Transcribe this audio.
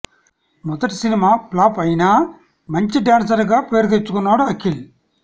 మొదటి cinema flop అయినా మంచి డాన్సర్ గా పేరు తెచ్చుకున్నాడు అఖిల్